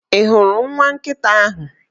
Ị hụrụ nwa nkịta ahụ?